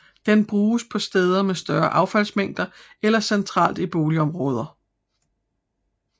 Den bruges på steder med større affaldsmængder eller centralt i boligområder